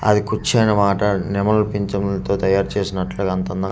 అది కూర్చోని మాట్లాడే నెమలి పించములతో తయారు చేసినట్లుగా అంత అంద--